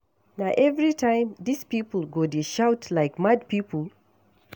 Na everytime dis people go dey shout like mad people?